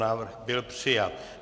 Návrh byl přijat.